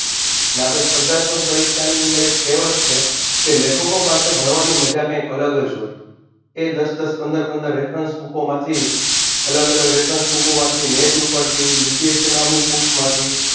ને આપણે સ્પર્ધાત્મક પરીક્ષાની અંદર એક કહેવાત છે કે લેખકો પાસે ભણવાની મજા કઈક અલગ જ હોય એ દસ દસ પંદર પંદર Refrence book માંથી અલગ અલગ Refrence book માંથી Net ઉપરથી UPSC book માંથી